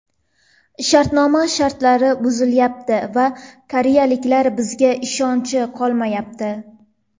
Shartnoma shartlari buzilayapti va koreyaliklar bizga ishonchi qolmayapti.